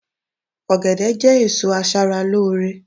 ogede je èso aṣara lore